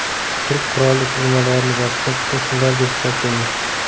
Turk qurolli tuzilmalarini bosqinchi qo‘shinlar deb hisoblaymiz.